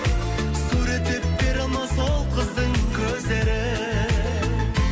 суреттеп бере алмас ол қыздың көздерін